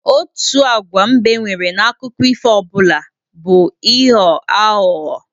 Otu agwa mbe nwere n'akụkọ ifo ọbụla bụ ịghọ aghụghọ